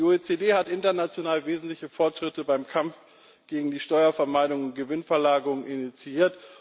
Die OECD hat international wesentliche Fortschritte beim Kampf gegen die Steuervermeidung und Gewinnverlagerung initiiert.